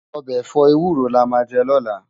Òbè èfò éwúró lámà jè lòlá